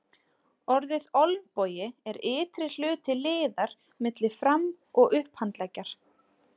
Orðið olnbogi er ytri hluti liðar milli fram- og upphandleggjar.